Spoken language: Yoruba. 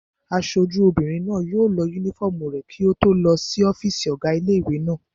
Aṣojú obìnrin náà yóò lọ yúnífọ́ọ̀mù rẹ̀ kí ó tó lọ sí ọ́fìsì ọ̀gá ilé-ìwé náà